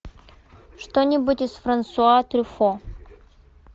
что нибудь из франсуа трюффо